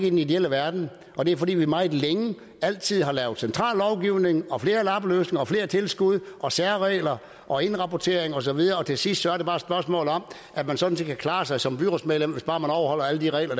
i den ideelle verden og det er fordi vi meget længe altid har lavet central lovgivning og flere lappeløsninger og flere tilskud og særregler og indrapporteringer og så videre til sidst er det bare et spørgsmål om at man sådan set kan klare sig som byrådsmedlem hvis bare man overholder alle de regler